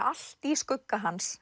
allt í skugga hans